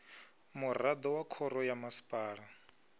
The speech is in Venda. muraḓo wa khoro ya masipala